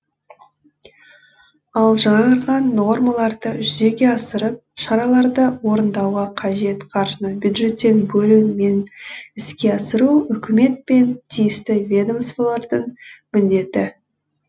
ал жаңарған нормаларды жүзеге асырып шараларды орындауға қажет қаржыны бюджеттен бөлу мен іске асыру үкімет пен тиісті ведомстволардың міндеті